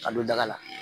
Ka don daga la